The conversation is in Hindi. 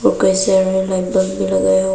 कई सारे भी लगया हुआ--